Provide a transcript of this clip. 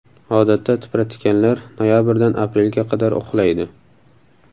Odatda tipratikanlar noyabrdan aprelga qadar uxlaydi.